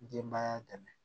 Denbaya dɛmɛ